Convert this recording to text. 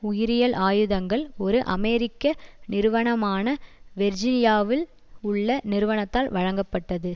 உயிரியல் ஆயுதங்கள் ஒரு அமெரிக்க நிறுவனமான வேர்ஜீனியாவில் உள்ள நிறுவனத்தால் வழங்கப்பட்டது